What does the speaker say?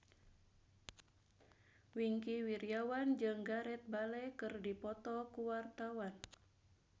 Wingky Wiryawan jeung Gareth Bale keur dipoto ku wartawan